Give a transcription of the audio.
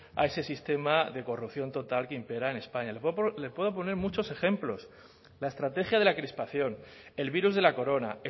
a ese sistema de corrupción total que impera en españa le puedo poner muchos ejemplos la estrategia de la crispación el virus de la corona